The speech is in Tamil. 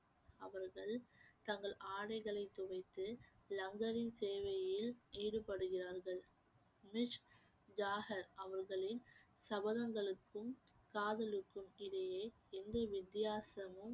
அவர்கள் தங்கள் ஆடைகளை துவைத்து லங்கரின் சேவையில் ஈடுபடுகிறார்கள் ஜாகர் அவர்களின் சபதங்களுக்கும் காதலுக்கும் இடையே எந்த வித்தியாசமும்